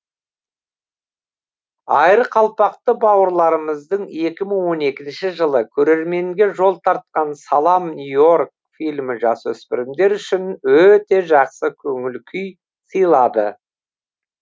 айырқалпақты бауырларымыздың екі мың он екінші жылы көрерменге жол тартқан салам нью и орк фильмі жасөспірімдер үшін өте жақсы көңіл күй сыйлады